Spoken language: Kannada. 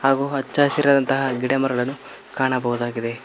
ಹಾಗು ಹಚ್ಚ ಹಸಿರಾದಂತಹ ಗಿಡಮರಗಳನ್ನು ಕಾಣಬಹುದಾಗಿದೆ.